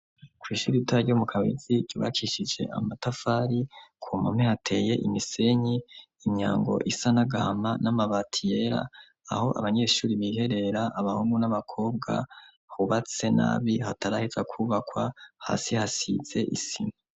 Kw'ishuri ita ryo mu kabizi yubakishije amatafari ku mame hateye imisenyi inyango isa nagahama n'amabati yera aho abanyeshuri biherera abahungu n'abakobwa hubatse nabi hatarahitsa kubakwa hasi hasize isima.